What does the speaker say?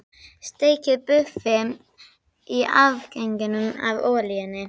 Steikið buffin í afganginum af olíunni.